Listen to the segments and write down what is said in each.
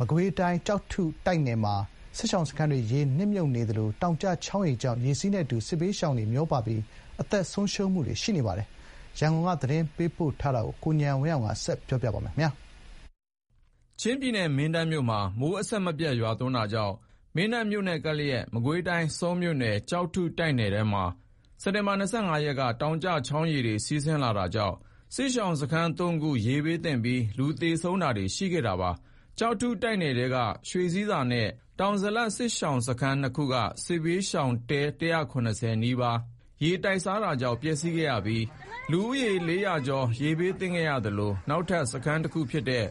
မကွေးတိုင်း ကျောက်ထုတိုက်နယ်မှာ စစ်ရှောင်စခန်းတွေ ရေနစ်မြုပ်နေသလို တောင်ကျချောင်းရေကြောင့် ရေစီးနဲ့အတူ စစ်ဘေးရှောင်တွေ မျောပါပြီး အသက်ဆုံးရှုံးနေပါတယ်။ ကျောက်ထုတိုက်နယ်ထဲက စစ်ဘေးရှောင် အခြေအနေတွေ ရန်ကုန်ဘက်က သတင်းပေးပို့ထားတာကို ကိုဉာဏ်ဝင်းအောင်က တင်ပြပေးထားပါတယ်။ ချင်းပြည်နယ် မင်းတပ်မြို့မှာ မိုးအဆက်မပြတ်ရွာသွန်းတာကြောင့် မင်းတပ်မြို့နဲ့ကပ်လျက်က မကွေးတိုင်း ဆောမြို့နယ် ကျောက်ထုတိုက်နယ်ထဲမှာ စက်တင်ဘာ ၂၅ ရက်က တောင်ကျချောင်းရေတွေ စီးဆင်းလာတာကြောင့် စစ်ရှောင်စခန်း ၃ ခု ရေဘေးသင့်ပြီး လူသေဆုံးတာတွေရှိခဲ့ပါတယ်။ ကျောက်ထုတိုက်နယ်ထဲက ရွှေဆည်းဆာ နဲ့ တောင်ဇလပ် စစ်ရှောင်စခန်းနှသ်ခုက စစ်ဘေးရှောင် တဲ ၁၇၀ နီးပါးဟာရေတိုက်စားတာကြောင့် ပျက်စီးခဲ့ရပြီး လူဦးရေ ၄၀၀ ကျော် ရေဘေးသင့်နေသလို နောက်ထပ်စခန်းတခုဖြစ်တဲ့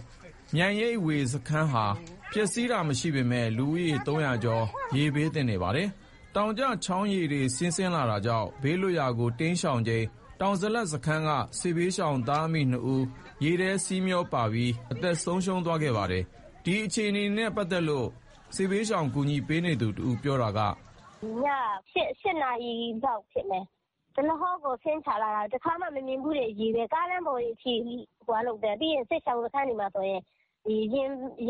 မြိုင်ရိပ်ဝေစခန်းဟာ ပျက်စီးတာမရှိပေမယ့် လူဦးရေ ၃၀၀ ကျော် ရေဘေးသင့်နေပါတယ်။ တောင်ကျချောင်းရေတွေစီးနေတာကြောင့် ဘေးလွတ်ရာကို တိမ်းရှောင်ချိန် တောင်ဇလပ်စခန်းက စစ်ဘေးရှောင်သားအမိ ၂ ဦး ရေစီးထဲမျောပါပြီး အသက်ဆုံးပါးသွားပါတယ်။ ဒီအခြေအနေနဲ့ ပတ်သက်လို့ စစ်ဘေးရှောင်ကူညီပေးနေသူတဦးက အခုလိုပြောပါတယ်။ "ည ၈ နာရီလောက်ဖြစ်မယ်။ ရေတွေက ဒလဟောဆင်းချလာတာ။ တခါမှ မမြင်ဖူးတဲ့ရေတွေက ကားလမ်းပေါ်တွေအထိ၊ ပြီးတော့ စစ်ရှောင် စခန်းတွေမှာဆိုရင် ရေတွေက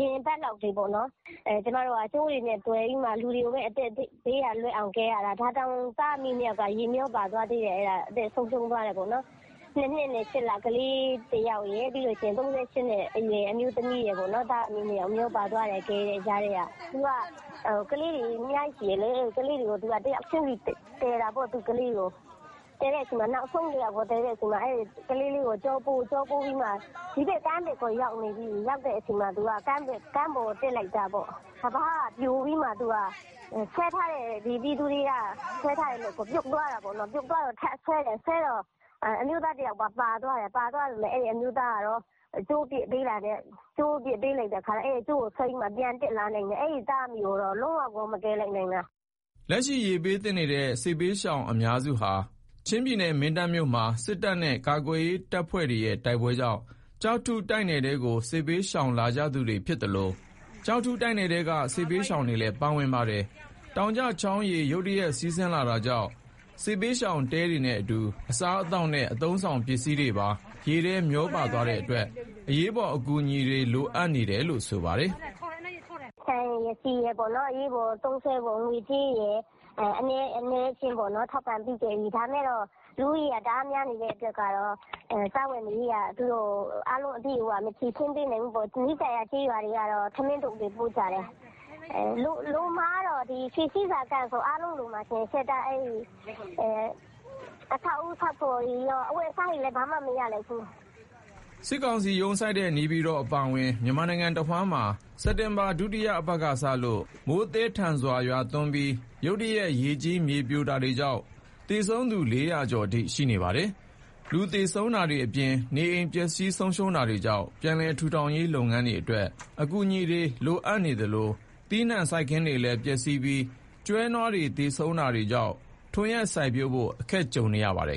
ရင်ဘတ်လောက်တွေပေါ့နော်။ ကျမတို့က ကြိုးတွေနဲ့သွယ်ပြီးလူတွေကို အသက်ဘေးက လွတ်အောင် ကယ်ရတာ။ ဒါတောင် သားအမိ ၂ ယောက်က ရေမျောပါသွားသေးတယ်။အသက်ဆုံးရှုံးသွားတယ်ပေါ့နော်။ ၂ နှစ်နဲ့ ၈ လ ကလေးတယောက်ရယ်။ ၃၈ နှစ်အရွယ် အမျိုးသမီးရယ်ပေါ့နော်။သားအမိ ၂ ယောက်မျောပါသွားတယ်။ ကယ်နေတဲ့ကြားထဲက။ သူက ကလေး ၂ ယောက်ရှိတယ်လေ။ ကလေးတွေကိုတယောက်ချင်းစီကယ်တာပေါ့။ သူ့ကလေးတွေကို နောက်ဆုံးတယောက်ကို ကယ်တဲ့အချိန်မှာ ကလေးလေးကိုကျောပိုးပြီး ဒီဘက်ကကမ်းဘက်ကို ရောက်နေပြီ။ ရောက်တဲ့အချိန် ကမ်းပေါ်ကို တက်လိုက်တာပေါ့။ ကမ်းပါးက ပြိုပြီးမှဆွဲထားတဲ့ ပြည်သူတွေက ဆွဲထားတဲ့လက်ကို ပြုတ်သွားတာပေါ့နော်။ ပြုတ်သွားတော့ ထပ်ဆွဲတော့ အမျိုးသားတယောက်ပါ ပါသွားတယ်။ အဲ့အမျိုးသားကတော့ ကြိုးပစ်ပေးတာနဲ့ အဲ့ကြိုးကိုဆွဲပြီး ပြန်တက်လာနိုင်တယ်။ အဲ့သားအမိကိုတော့ လုံးဝကို မကယ်လိုက်နိုင်တော့တာ။" လက်ရှိ ရေဘေးသင့်နေတဲ့ စစ်ဘေးရှောင်အများစုဟာ ချင်းပြည်နယ်မင်းတပ်မြို့မှာ စစ်တပ်နဲ့ ကာကွယ်ရေးတပ်ဖွဲ့တွေရဲ့ တိုက်ပွဲကြောင့် ကျောက်ထုတိုက်နယ်ထဲကို စစ်ဘေးရှောင်လာကြသူတွေဖြစ်သလို ကျောက်ထုတိုက်နယ်ထဲက စစ်ဘေးရှောင်တွေလည်း ပါဝင်ပါတယ်။ တောင်ကျချောင်းရေ ရုတ်တရက်စီးလာတာကြောင့် စစ်ဘေးရှောင်တဲတွေနဲ့အတူ အစားအသောက်နဲ့ အသုံးအဆောင်တွေပါ ရေနဲ့မျောပါသွားတဲ့အတွက် အရေးပေါ်အကူအညီတွေ လိုအပ်နေပါတယ်။ "ဆန်ရယ် ဆီရယ် အနည်းအကျဉ်းတော့ ထောက်ပံ့ပေးခဲ့ပြီ။ ဒါပေမယ့် လူဦးရေက တအားများနေတဲ့အတွက်က စားဝတ်နေရေးက အားလုံးအပြည့်အ၀ မဖြေရှင်းပေးနိုင်ဘူးပေါ့။ နီးစပ်ရာ ကျေးရွာတွေကတော့ ထမင်းထုပ်တွေ ပို့ကြတယ်။ လိုမှာကတော့ ရွှေဆည်းဆာ စခန်းဆို အားလုံးလိုမှာ။ အဆောက်အဦးဆောက်ဖို့တွေကော၊ အဝတ်အစားတွေဆိုဘာမှ မရလိုက်ဘူး။" စစ်ကောင်စီရုံးစိုက်တဲ့ နေပြည်တော်အပါအဝင် မြန်မာနိုင်ငံတဝှမ်းမှာ စက်တင်ဘာ ဒုတိယအပတ်ကစလို့ မိုးသည်းထန်စွာရွာသွန်းပြီး ရုတ်တရက် ရေကြီးမြေပြိုတာတွေကြောင့် သေဆုံးသူ ၄၀၀ ကျော်အထိ ရှိနေပါတယ်။ လူသေဆုံးတာတွေအပြင် နေအိမ်တွေပျက်စီးဆုံးရှုံးတာကြောင့် ပြန်လည်ထူထောင်ရေးအတွက် အကူအညီတွေ လိုအပ်နေသလို သီးနှံစိုက်ခင်းတွေပျက်စီးပြီး ကျွဲနွားတွေသေဆုံးတာတွေကြောင့် ထွန်ယက်စိုက်ပျိုးဖို့ အခက်တွေ့နေပါတယ်။